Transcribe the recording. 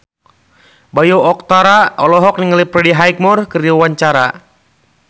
Bayu Octara olohok ningali Freddie Highmore keur diwawancara